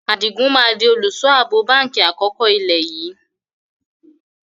Adigun máa di olùsọ abo báńkì àkọ́kọ́ ilé yìí